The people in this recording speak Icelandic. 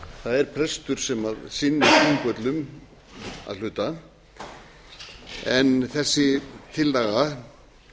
það er prestur sem sinnir þingvöllum að hluta en þessi tillaga